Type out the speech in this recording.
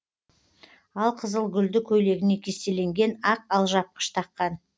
ал қызыл гүлді көйлегіне кестеленген ақ алжапқыш таққан